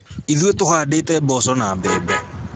Ithuĩ tũhandĩte mboco na mbembe